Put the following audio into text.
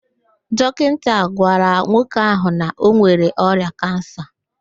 Dọkinta gwara nwoke ahụ na ọ nwere ọrịa kansa